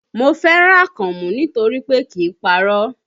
Mo fẹ́ràn Akànmú nítorí pé kìí parọ́